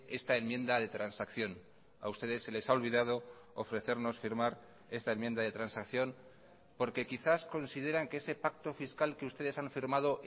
esta enmienda de transacción a ustedes se les ha olvidado ofrecernos firmar esta enmienda de transacción porque quizás consideran que ese pacto fiscal que ustedes han firmado